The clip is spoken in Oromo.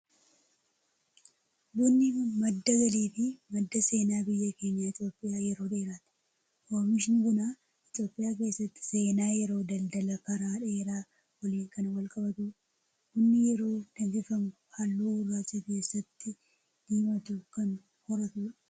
Bunni madda galii fi madda seenaa biyya keenya Itoophiyaa yeroo dheeraati. Oomishni bunaa Itoophiyaa keessatti seenaa yeroo daldala karaa dheeraa waliin kan wal qabatudha. Bunni yeroo danfifamu halluu gurraacha keessatti diimatu kan horatudha.